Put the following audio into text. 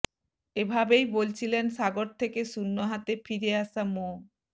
এভাবেই বলছিলেন সাগর থেকে শূন্য হাতে ফিরে আসা মো